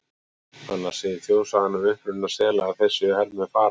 Annars segir þjóðsagan um uppruna sela að þeir séu hermenn Faraós.